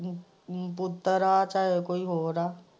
ਚਾਹੇ ਪੁੱਤਰ ਚਾਹੇ ਕੋਈ ਹੋਰ ਹੈ।